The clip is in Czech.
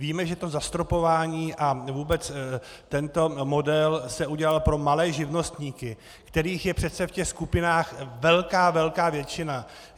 Víme, že to zastropování a vůbec tento model se udělal pro malé živnostníky, kterých je přece v těch skupinách velká, velká většina.